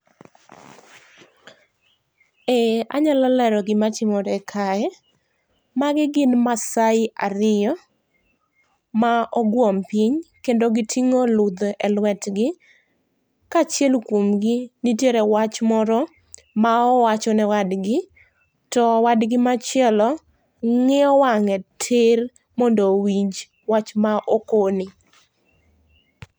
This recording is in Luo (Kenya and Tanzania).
Eeh, anyalo lero gima timore kae, magi gin maasai ariyo ma oguom piny kendo gitingo ludhe e lwetgi ka achiel kuomgi nitiere wach moro ma owachone wadgi to wadgi machielo ngiyo wange tiir mondo owinj wach ma okone